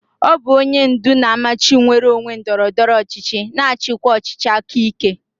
Ọ bụ onye ndu na-amachi nnwere onwe ndọrọ ndọrọ ọchịchị na-achịkwa ọchịchị aka ike.